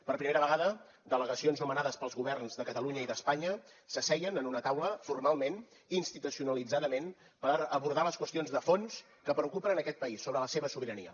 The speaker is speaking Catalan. per primera vegada delegacions nomenades pels governs de catalunya i d’espanya s’asseien en una taula formalment institucionalitzadament per abordar les qüestions de fons que preocupen en aquest país sobre la seva sobirania